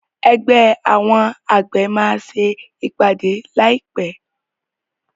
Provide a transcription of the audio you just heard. Ẹgbẹ́ àwọn àgbẹ̀ máa ṣe ìpàdé láì pé.